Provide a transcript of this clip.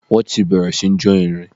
Wọ́n ti bẹ̀rẹ̀ sí ní jó irin.